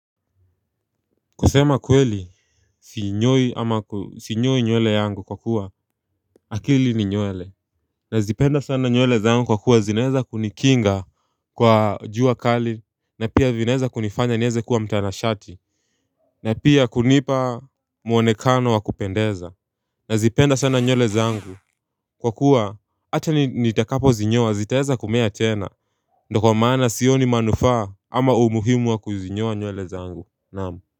Kusema kweli sinyoi nywele yangu kwa kuwa akili ni nywele nazipenda sana nywele zangu kwa kuwa zinaweza kunikinga kwa jua kali na pia zinaweza kunifanya niweze kuwa mtanashati na pia kunipa muonekano wa kupendeza nazipenda sana nywele zangu kwa kuwa hata nitakapozinyoa zitaweza kumea tena Ndio kwa maana sioni manufaa ama umuhimu wa kuzinyoa nywele zangu naam.